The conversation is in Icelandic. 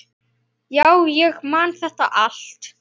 Já, ég man þetta allt.